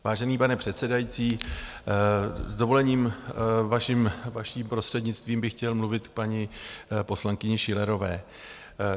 Vážený pane předsedající, s dovolením vaším prostřednictvím bych chtěl mluvit k paní poslankyni Schillerové.